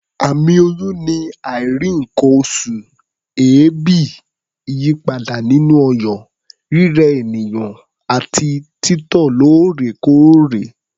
Àmì oyún ni àìrí nǹkan-oṣù, èébì, ìyípadà nínú ọyàn, rírẹ ènìyàn àti títọ̀ lóòrèkóòrè.